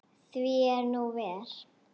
Því er nú ver.